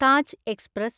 Taj express